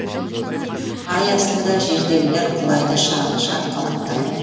ай астында жердегілер құлайды шатқалақтай